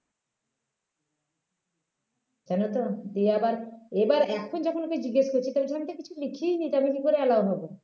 জানো তো দিয়ে আবার এবার এখন যখন ওকে জিজ্ঞেস করছি তখন বলছে আমি কিছু লিখিনি তো আমি কি করে allow হবো